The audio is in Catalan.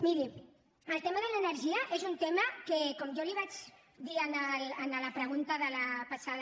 miri el tema de l’energia és un tema que com jo li vaig dir en la pregunta de la passada